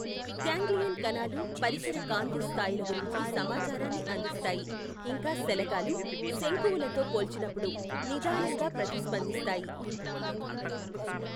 Ganglion కణాలు పరిసర కాంతి స్థాయిల గురించి సమాచారాన్ని అందిస్తాయి, ఇంకా శలాకలు, శంకువులతో పోల్చినప్పుడు నిదానంగా ప్రతిస్పందిస్తాయి.